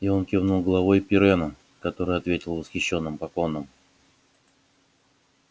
и он кивнул головой пиренну который ответил восхищенным поклоном